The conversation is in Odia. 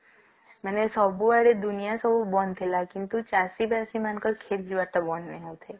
ମାନେ ସବୁଆଡେ ଦୁନିଆ ସବୁ ବନ୍ଦ ଥିଲା କିନ୍ତୁ ଚାଷୀ ବସି ମାନଙ୍କ କେଟ ଯିବାର ବନ୍ଦ ନାହିଁ